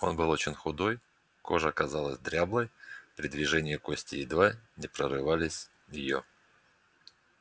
он был очень худой кожа казалась дряблой при движениях кости едва не прорывали её